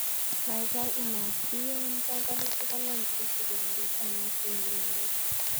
Kagaigai inasyiyan panganutik angwan chesupe karit ap maat kowendi nairobi